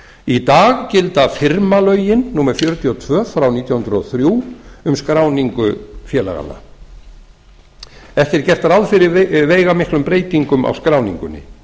í dag gilda firmalögin númer fjörutíu og tvö nítján hundruð og þrjú um skráningu félaganna ekki er gert ráð fyrir veigamiklum breytingum á skráningunni